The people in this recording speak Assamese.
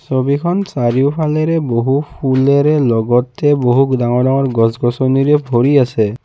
ছবিখন চাৰিওফালেৰে বহু ফুলেৰে লগতে বহুত ডাঙৰ ডাঙৰ গছ-গছনিৰে ভৰি আছে।